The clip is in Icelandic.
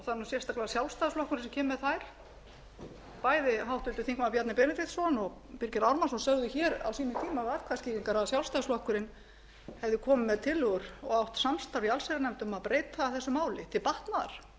er sérstaklega sjálfstæðisflokkurinn sem kemur með þær bæði háttvirtur þingmaður bjarni benediktsson og birgir ármannsson sögðu hér á sínum tíma við atkvæðaskýringar að sjálfstæðisflokkurinn hefði komið með tillögur og átt samstarf í allsherjarnefnd um að breyta þessu máli til batnaðar þetta